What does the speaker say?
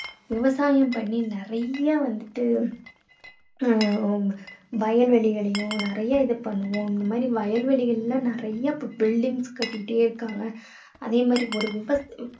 விவசாயம் பண்ணி நிறைய வந்துட்டு உம் வயல்வெளிகளையும் நிறைய இது பண்ணுவோம். இந்த மாதிரி வயல் வெளிகள்ல நிறைய buildings கட்டிட்டே இருக்காங்க. அதே மாதிரி ஒரு விவ~